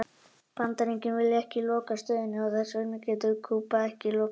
Bandaríkin vilja ekki loka stöðinni og þess vegna getur Kúba ekki lokað henni heldur.